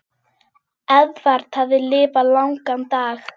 Eðvarð hafði lifað langan dag.